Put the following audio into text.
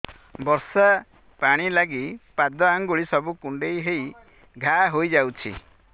ବର୍ଷା ପାଣି ଲାଗି ପାଦ ଅଙ୍ଗୁଳି ସବୁ କୁଣ୍ଡେଇ ହେଇ ଘା ହୋଇଯାଉଛି